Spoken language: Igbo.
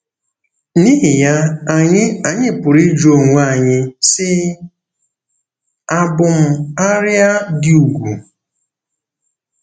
N’ihi ya, anyị anyị pụrụ ịjụ onwe anyị, sị: ‘Àbụ m “arịa dị ùgwù”?